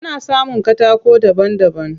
Ana samun katako daban daban.